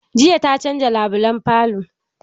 Jiya ta canza labulan falo.